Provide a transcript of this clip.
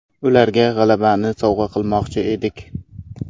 Ularga g‘alabani sovg‘a qilmoqchi edik.